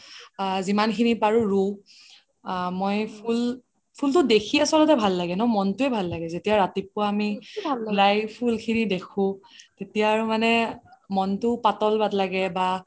আ যিমান খিনি পাৰো ৰু আ মই ফুল্, ফুলটো দেখি আচলতে ভাল লাগে ন মনটোয়ে ভাল লাগে যেতিয়া ৰাতিপোৱা আমি উলাই ফুল খিনি দেখো তেতিয়া আৰু মনটো পাতল লাগে বা